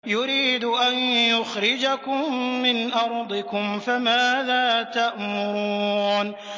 يُرِيدُ أَن يُخْرِجَكُم مِّنْ أَرْضِكُمْ ۖ فَمَاذَا تَأْمُرُونَ